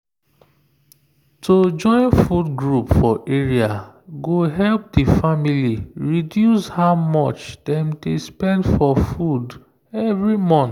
to join food group for area go help the family reduce how much dem dey spend for food every month